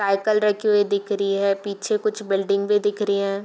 Cycle रखी हुई दिख रही है पीछे कुछ बिल्डिंग भी दिख री हैं।